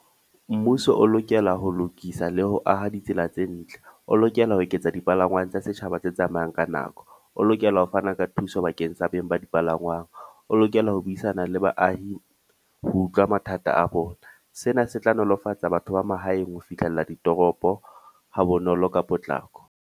Mmuso o lokela ho lokisa le ho aha ditsela tse ntle. O lokela ho eketsa dipalangwang tsa setjhaba tse tsamayang ka nako. O lokela ho fana ka thuso bakeng sa beng ba dipalangwang. O lokela ho buisana le baahi ho utlwa mathata a bona. Sena se tla nolofatsa batho ba mahaeng ho fihlella ditoropo ha bonolo ka potlako.